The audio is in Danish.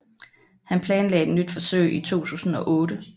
Han planlagde et nyt forsøg i 2008